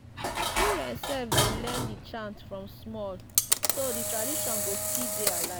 children sef dey learn di chants from small so di tradition go still dey alive.